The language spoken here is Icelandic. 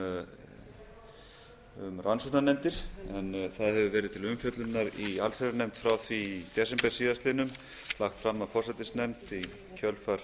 rannsóknarnefndir en það hefur verið til umfjöllunar í allsherjarnefnd frá því í desember síðastliðnum lagt fram af forsætisnefnd í kjölfar